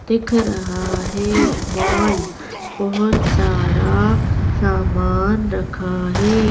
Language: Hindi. दिख रहा है मॉल बहुत सारा सामान रखा है।